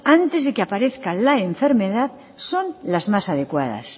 antes de que aparezca la enfermedad son las más adecuadas